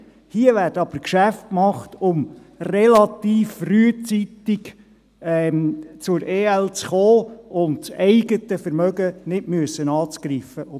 Hier werden aber Geschäfte gemacht, um relativ frühzeitig zu EL zu kommen, um das eigene Vermögen nicht angreifen zu müssen.